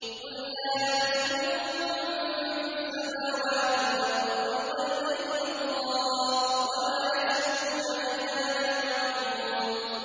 قُل لَّا يَعْلَمُ مَن فِي السَّمَاوَاتِ وَالْأَرْضِ الْغَيْبَ إِلَّا اللَّهُ ۚ وَمَا يَشْعُرُونَ أَيَّانَ يُبْعَثُونَ